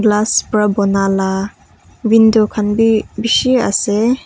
glass para bona la window khan bhi bisi ase.